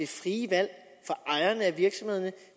frie valg